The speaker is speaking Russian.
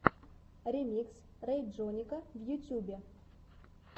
ремикс рэйджонника в ютюбе